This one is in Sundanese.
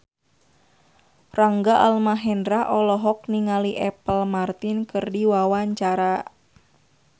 Rangga Almahendra olohok ningali Apple Martin keur diwawancara